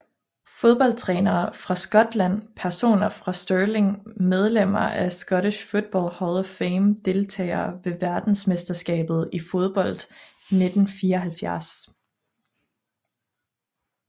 Fodboldtrænere fra Skotland Personer fra Stirling Medlemmer af Scottish Football Hall of Fame Deltagere ved verdensmesterskabet i fodbold 1974